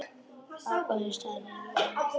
Agndofa stari ég á hana.